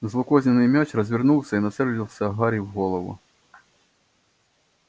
злокозненный мяч развернулся и нацелился гарри в голову